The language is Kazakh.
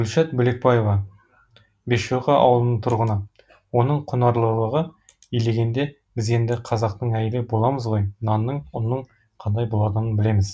гүлшат бөлекбаева бесшоқы ауылының тұрғыны оның құнарлылығы илегенде біз енді қазақтың әйелі білеміз ғой нанның ұнның қандай болатынын білеміз